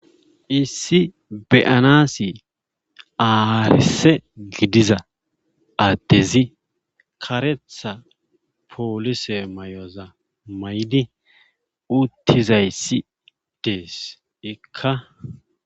Issi be7anaassi aarisse gidiza addezi karetha poolise mayoza mayid uttizayssi ddes ikka.